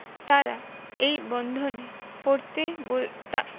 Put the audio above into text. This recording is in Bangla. তারা এই বন্ধনে পড়তে বই তা